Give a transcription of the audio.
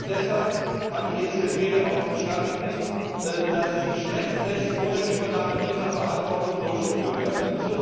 Nicht zuletzt deshalb hat die EZB darauf bestanden, dass die Stresstests vor der Übernahme dieser Verantwortung durchgeführt werden.